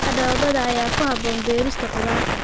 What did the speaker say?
Ciidda dhoobada ayaa ku habboon beerista khudaarta.